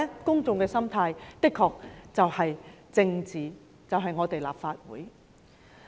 公眾的心態就是政治，即是立法會。